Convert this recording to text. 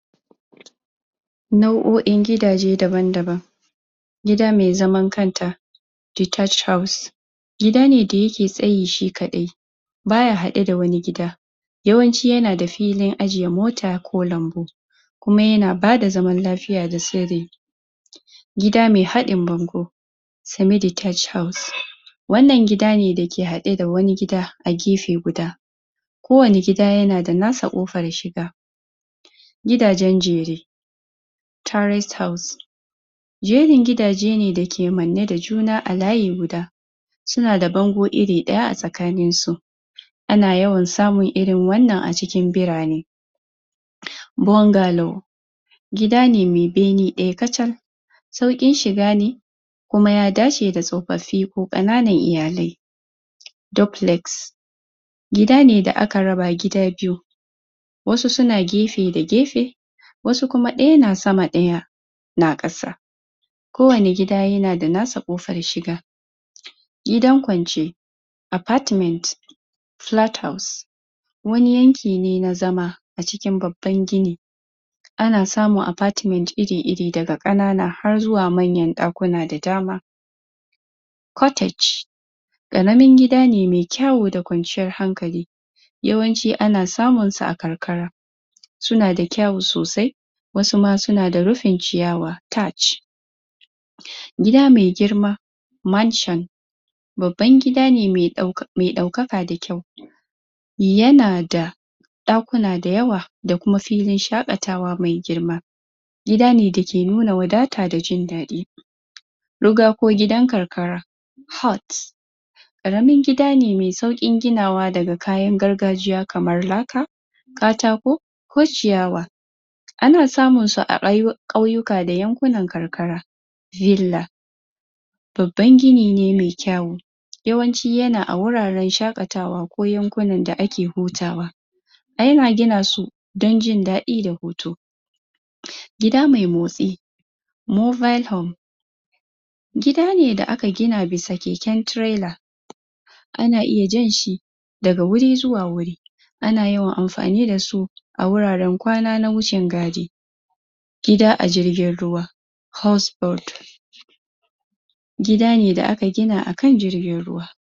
Nau'o'in gidaje daban-daban. Gida mai zaman kanta; detached house, gida ne da yake tsayi shikaɗai ba ya haɗe da wani gida. Yawanci ya na filin ajiye mota ko lambu kuma ya na bada zaman lafiya da sirri. Gida mai haɗin bango; Semi-detached house, wannan gida ne dake haɗe da wani gida a gefe guda. Kowane gida ya na da nasa ƙofar shiga. Gidajen jere; tourist house, jerin gidaje ne dake manne da juna a layi guda, su na da bango iri ɗaya a tsakanin su. Ana yawan samun irin wannan a cikin birane. Bungarlor; gidane mai bene ɗaya kacal, sauƙin shiga ne kuma ya dace da tsofaffi ko ƙananan iyalai. Duplex; gidane da aka raba gida biyu wasu su na gefe da gefe, wasu kuma ɗaya na sama ɗaya na ƙasa. Kowane gida ya na da nasa ƙofar shiga. Gidan kwance; apartments, flat house, wani yanki ne na zama a cikin babban gini, ana samun apartments iri-iri daga ƙanana har zuwa manyan ɗakuna da dama. Cortage; ƙaramin gida ne mai kyawo da kwanciyar hankali. Yawanci ana samun sa a karkara. Su na da kyawo sosai, wasu ma su na da rufin ciyawa, tatch. Gida mai girma; Mansion, babban gida ne mai ɗauka mai ɗaukaka da kyau. Ya na da ɗakuna da yawa da kuma filin shaƙatawa mai girma. Gida ne dake nuna wadata da jin daɗi. Rugga ko gidan karkara; hut, ƙaramin gida ne mai sauƙin ginawa daga kayan gargajiya kamar laka, katako ko ciyawa. Ana samun su a ƙau ƙauyuka da yankunan karkara. Villa; Babban gini ne mai kyawo. Yawanci ya na a wuraren shaƙatawa ko yankunan da ake hutawa. Ana gina su don jin daɗi da hutu. Gida mai motsi; mobile home, gida ne da aka gina bisa keke tirela. Ana iya jan shi daga wuri zuwa wuri ana yawan amfani da su a wuraren kwana na wucin-gadi. Gida a jirgin ruwa; house gida ne da aka gina akan jirgin ruwa.